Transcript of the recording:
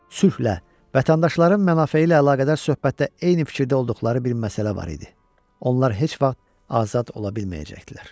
Sülhlə, vətəndaşların mənfəyi ilə əlaqədar söhbətdə eyni fikirdə olduqları bir məsələ var idi: onlar heç vaxt azad ola bilməyəcəkdilər.